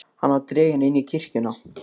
Hann var dreginn inn í kirkjuna.